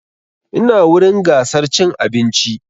Ina wurin gasar cin abinci